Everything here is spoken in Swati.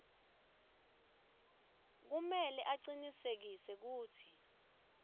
kumele acinisekise kutsi